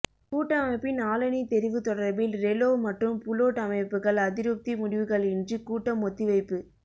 கூட்டமைப்பின் ஆளணி தெரிவு தொடர்பில் ரெலோ மற்றும் புளொட் அமைப்புக்கள் அதிருப்தி முடிவுகளின்றி கூட்டம் ஒத்திவைப்பு